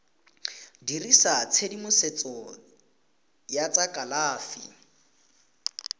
dirisa tshedimosetso ya tsa kalafi